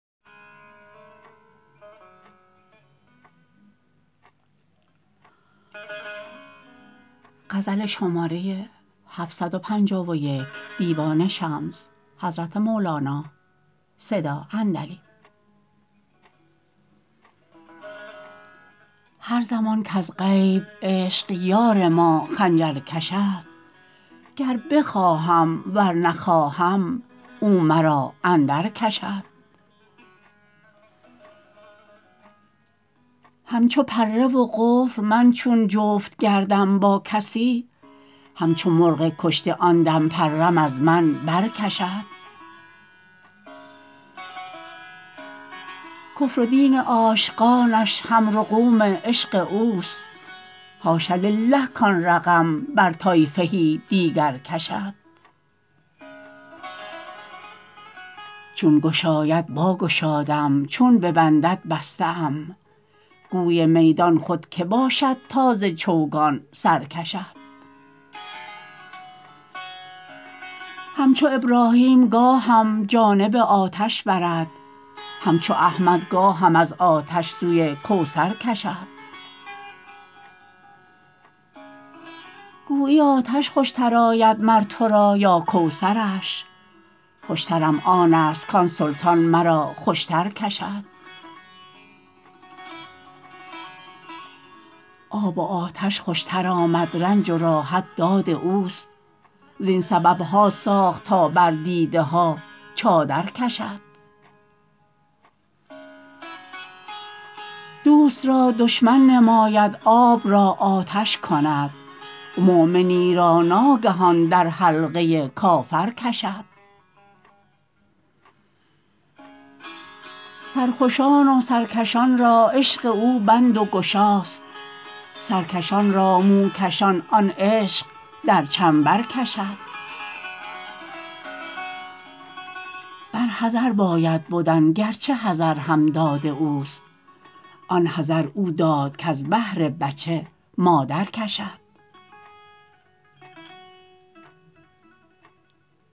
هر زمان کز غیب عشق یار ما خنجر کشد گر بخواهم ور نخواهم او مرا اندرکشد همچو پره و قفل من چون جفت گردم با کسی همچو مرغ کشته آن دم پرم از من برکشد کفر و دین عاشقانش هم رقوم عشق اوست حاش لله کان رقم بر طایفه دیگر کشد چون گشاید باگشادم چون ببندد بسته ام گوی میدان خود کی باشد تا ز چوگان سر کشد همچو ابراهیم گاهم جانب آتش برد همچو احمد گاهم از آتش سوی کوثر کشد گویی آتش خوشتر آید مر تو را یا کوثرش خوشترم آنست کان سلطان مرا خوشتر کشد آب و آتش خوشتر آمد رنج و راحت داد اوست زین سبب ها ساخت تا بر دیده ها چادر کشد دوست را دشمن نماید آب را آتش کند مؤمنی را ناگهان در حلقه کافر کشد سرخوشان و سرکشان را عشق او بند و گشاست سرکشان را موکشان آن عشق در چنبر کشد بر حذر باید بدن گرچه حذر هم داد اوست آن حذر او داد کز بهر بچه مادر کشد